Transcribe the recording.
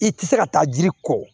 I tɛ se ka taa jiri kɔ